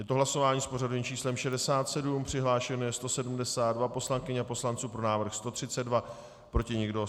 Je to hlasování s pořadovým číslem 67, přihlášeno je 172 poslankyň a poslanců, pro návrh 132, proti nikdo.